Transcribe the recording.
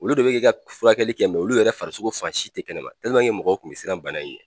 Olu de bɛ k'e ka furakɛli kɛ mɛ olu yɛrɛ farisogo fan si tɛ kɛnɛma mɔgɔw kun bɛ siran bana in ɲɛ